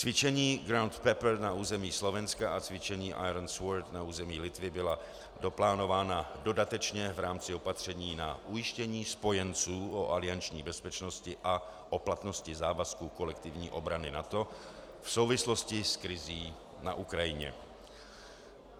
Cvičení GROUND PEPPER na území Slovenska a cvičení IRON SWORD na území Litvy byla doplánována dodatečně v rámci opatření na ujištění spojenců o alianční bezpečnosti a o platnosti závazků kolektivní obrany NATO v souvislosti s krizí na Ukrajině.